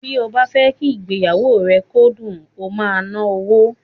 Bí ó bá fẹ́ kí ìgbéyàwó rẹ kó dùn, o máa ná owó.